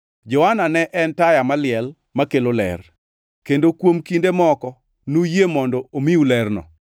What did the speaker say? Johana ne en taya maliel makelo ler, kendo kuom kinde moko nuyie mondo omiu lerno.